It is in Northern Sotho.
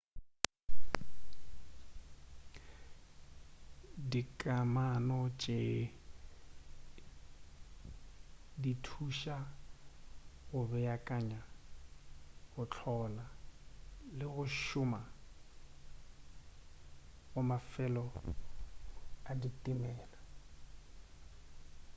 dikamano tše di thuša ka go beakanya go hlola le go šoma ga mafelo a ditimela